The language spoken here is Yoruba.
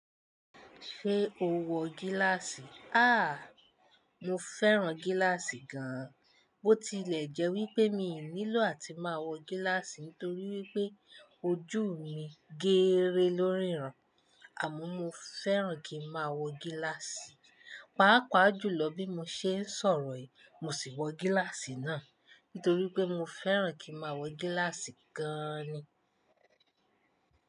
Ṣé o wọ gíláàsì? Àh, mo fẹ́ràn gíláàsì gan-an. Bo tilè jẹ́ wípé mi ò nílò àti máa wọ gíláàsì nítorí wípé ojú mi gééré lóríran, àmọ́ mo fẹ́ràn kí n máa wọ gíláàsì. Paapaa ju lọ bí mo ṣe ń sọ̀rọ̀ yìí, mo sì wọ gíláàsì náà, nítorí pé mo fẹ́ràn kí máa wọ gíláàsì gaaani.